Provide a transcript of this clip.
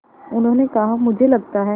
उन्होंने कहा मुझे लगता है